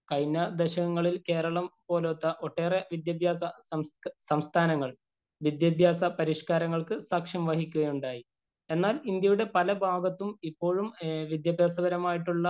കഴിഞ്ഞ ദശകങ്ങളില്‍ കേരളം പോലത്തെ ഒട്ടേറെ വിദ്യാഭ്യാസ സംസ്ഥാനങ്ങള്‍ വിദ്യാഭ്യാസ പരിഷ്കാരങ്ങള്‍ക്ക് സാക്ഷ്യം വഹിക്കുകയുണ്ടായി. എന്നാല്‍ ഇന്ത്യയുടെ പലഭാഗത്തും ഇപ്പോഴും വിദ്യാഭ്യാസപരമായിട്ടുള്ള